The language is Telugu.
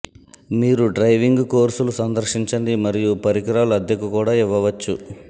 మీరు డైవింగ్ కోర్సులు సందర్శించండి మరియు పరికరాలు అద్దెకు కూడా ఇవ్వవచ్చు